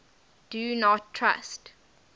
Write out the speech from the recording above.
do not trust